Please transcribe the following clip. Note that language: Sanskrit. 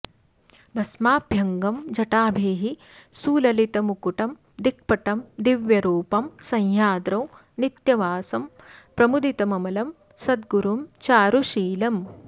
भस्माभ्यङ्गं जटाभिः सुललितमुकुटं दिक्पटं दिव्यरूपं सह्याद्रौ नित्यवासं प्रमुदितममलं सद्गुरुं चारुशीलम्